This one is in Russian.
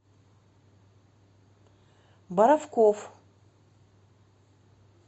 боровков